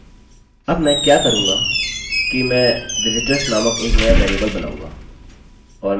अब मैं क्या करूँगा कि मैं विजिटर्स नामक एक नया वेरिएबल बनाऊँगा